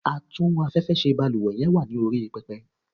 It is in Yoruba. Atún afẹ́fẹ́ ṣe balúwẹ́ yen wa ni orí pepe